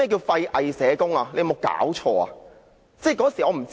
"廢偽社工"是甚麼意思呢？